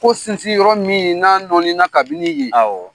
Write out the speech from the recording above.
Ko sinsi yɔrɔ min n'a nɔnina kabini ye,